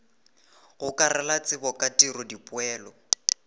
gokarela tsebo ka tiro dipoelo